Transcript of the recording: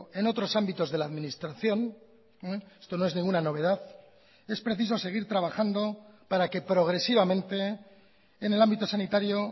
en otros ámbitos de la administración esto no es ninguna novedad es preciso seguir trabajando para que progresivamente en el ámbito sanitario